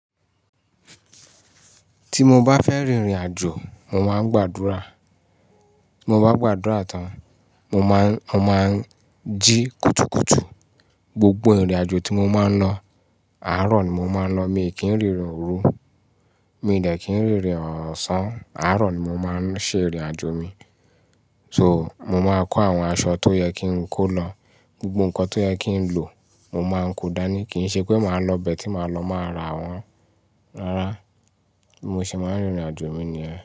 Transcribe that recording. Tí mo bá fẹ́ rìnrìn àjò, mo máa ń gbàdúrà. Ti mo gbàdúrà tán, mo máa ń, mo máa ń jí kùtùkùtù. Gbogbo ìrìn àjò tí mo máa ń lọ, àárọ̀ ni mo máa ń lọ. Mi n kí ń rìnrìn òru. Mi n dẹ́ki ń rìnrìn ọ̀sán. Aárọ̀ ni mo máa ń ṣe ìrìn àjò mi. So, mo máa ń kó àwọn aṣọ tó yẹ kí n kó lọ. Gbogbo nǹkan tó yẹ kí n lò, mo máa ń kó dání. Kì n ṣe pé màá lọ ibẹ̀ tí màá lọ màá ra àwọn rárá. Mo sì máa ń rìnrìn àjò mi nìyẹn.